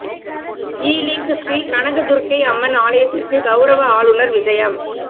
Ealing Sri Kanaka Durgai Amman ஆலயத்திற்கு கௌரவ ஆளுநர் விஜயம்